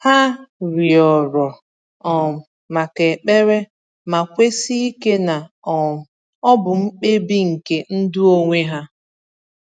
Ha rịọrọ um maka ekpere, ma kwesi ike na um ọ bụ mkpebi nke ndụ onwe ha.